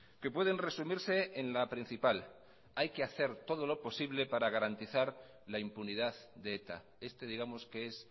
que pueden resumirse en la principal hay que hacer todo lo posible para garantizar la impunidad de eta este digamos que es